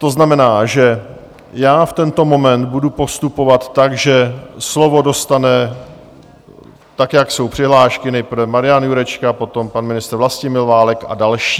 To znamená, že já v tento moment budu postupovat tak, že slovo dostane tak, jak jsou přihlášky, nejprve Marian Jurečka, potom pan ministr Vlastimil Válek a další.